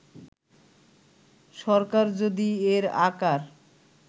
সরকার যদি এর আকার